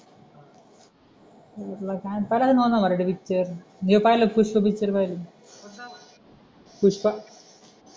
करायचा नवनवीन पिक्चर मी पाहिलाय पुष्पा पिक्चर पाहिला आहे पुष्पा